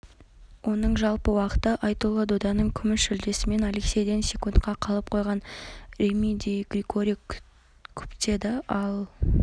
оның жалпы уақыты айтулы доданың күміс жүлдесімен алексейден секундқа қалып қойған реми ди григори күптелді ал